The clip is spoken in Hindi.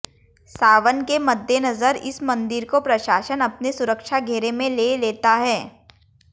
सावन के मद्देनजर इस मंदिर को प्रशासन अपने सुरक्षा घेरे में ले लेता है